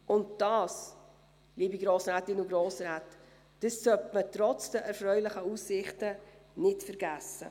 Und dies, liebe Grossrätinnen und Grossräte, sollte man trotz der erfreulichen Aussichten nicht vergessen.